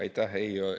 Aitäh!